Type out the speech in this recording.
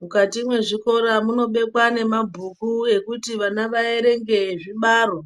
Mukati mwezvikora munobekwa nemabhuku ekuti vana vaerenge ezvibaro